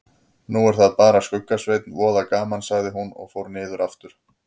Nú er það bara Skugga-Sveinn, voða gaman sagði hún og fór niður aftur.